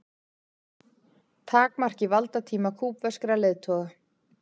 Takmarki valdatíma kúbverskra leiðtoga